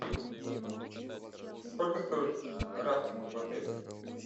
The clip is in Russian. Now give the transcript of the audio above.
сколько стоит рафтинг в отеле